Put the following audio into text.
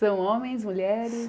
São homens, mulheres?